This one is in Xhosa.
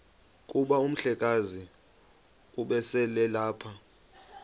kuba umhlekazi ubeselelapha